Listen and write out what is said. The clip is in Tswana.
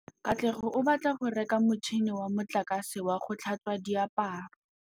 Katlego o batla go reka motšhine wa motlakase wa go tlhatswa diaparo.